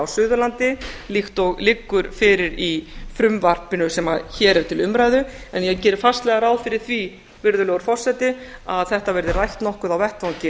suðurlandi líkt og liggur fyrir í frumvarpinu sem hér er til umræðu en ég geri fastlega ráð fyrir því virðulegur forseti að þetta verði rætt nokkuð á vettvangi